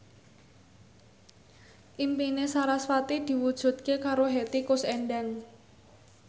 impine sarasvati diwujudke karo Hetty Koes Endang